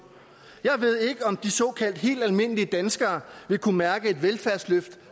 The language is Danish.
jeg ved ikke om de såkaldt helt almindelige danskere vil kunne mærke et velfærdsløft